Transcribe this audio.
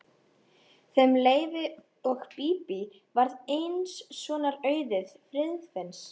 Þeim Leifi og Bíbí varð eins sonar auðið, Friðfinns.